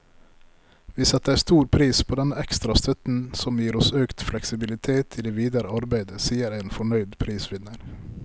Vi setter stor pris på denne ekstra støtten, som gir oss økt fleksibilitet i det videre arbeidet, sier en fornøyd prisvinner.